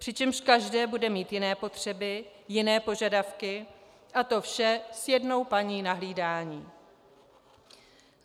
Přičemž každé bude mít jiné potřeby, jiné požadavky a to vše s jednou paní na hlídání.